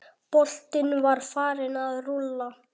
Boltinn var farinn að rúlla.